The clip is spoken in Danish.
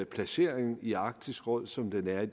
placering i arktisk råd som den er i